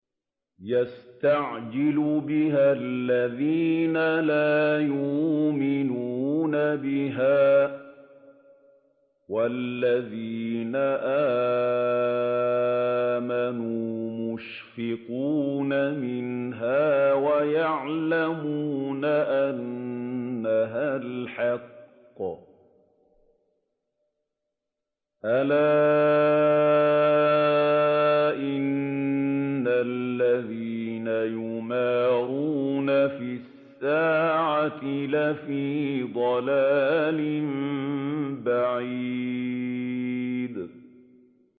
يَسْتَعْجِلُ بِهَا الَّذِينَ لَا يُؤْمِنُونَ بِهَا ۖ وَالَّذِينَ آمَنُوا مُشْفِقُونَ مِنْهَا وَيَعْلَمُونَ أَنَّهَا الْحَقُّ ۗ أَلَا إِنَّ الَّذِينَ يُمَارُونَ فِي السَّاعَةِ لَفِي ضَلَالٍ بَعِيدٍ